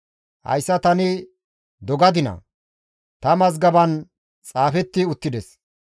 «Hayssa tani dogadinaa? Ta mazgaban xaafetti uttides.